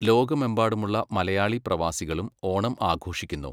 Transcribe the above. ലോകമെമ്പാടുമുള്ള മലയാളി പ്രവാസികളും ഓണം ആഘോഷിക്കുന്നു.